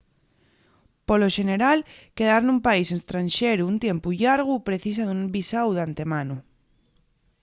polo xeneral quedar nun país estranxeru un tiempu llargu precisa d’un visáu d’antemano